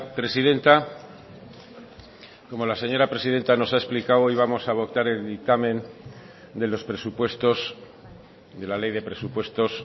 presidenta como la señora presidenta nos ha explicado hoy vamos a votar el dictamen de los presupuestos de la ley de presupuestos